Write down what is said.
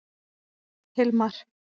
Hilmar